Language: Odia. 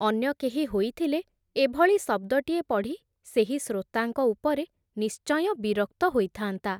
ଅନ୍ୟ କେହି ହୋଇଥିଲେ, ଏଭଳି ଶବ୍ଦଟିଏ ପଢ଼ି, ସେହି ଶ୍ରୋତାଙ୍କ ଉପରେ ନିଶ୍ଚୟଁ ବିରକ୍ତ ହୋଇଥାନ୍ତା ।